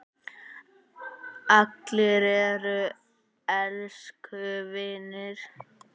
Allir eru elsku vinir.